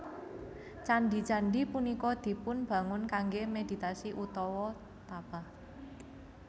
Candhi candhi punika dipun bangun kanggè meditasi utawa tapa